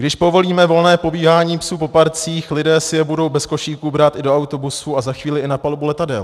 Když povolíme volné pobíhání psů po parcích, lidé si je budou bez košíků brát i do autobusů a za chvíli i na palubu letadel.